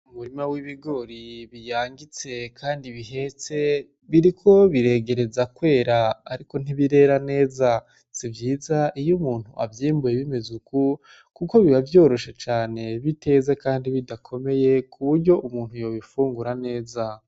Umurima w'ibigori biyangitse kandi bihetse biriko biregereza kwera ariko ntibirera neza si vyiza iyo umuntu avyimbuye bimeze uku kuko biba vyoroshe cane biteze kandi bidakomeye ku buryo umuntu yobifungira neza.